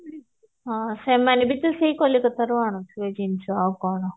ହଁ ସେମାନେ ବି ତ ସେଇ କଲିକତାରୁ ଆଣୁଥିବେ ଜିନିଷ ଆଉ କଣ